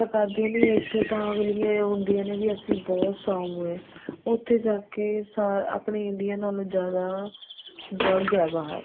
ਧੋਖਾ ਕਰਦੀਆਂ ਨੇ ਇੱਥੋ ਤਾਂ ਅਗਲੀਆਂ ਏ ਹੁੰਦੀਆਂ ਨੇ ਵੀ ਅਸੀਂ ਬਹੁਤ ਸਾਊ ਏ ਉੱਥੇ ਜਾਕੇ ਆਪਣੀ India ਨਾਲੋ ਜਿਆਦਾ drug ਏ ਬਾਹਰ